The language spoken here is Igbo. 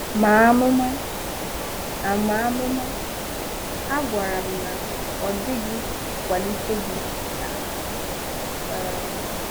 Màa amụ̀ma? A Màa amụ̀ma? A gwàrà m na, “Ọ dị̀ghị kwàlìtè gị, sir.” um